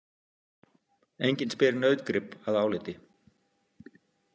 Enginn spyr nautgrip að áliti.